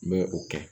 N bɛ o kɛ